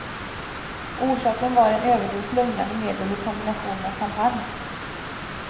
Orsaken var en överdos lugnande medel i kombination med champagne.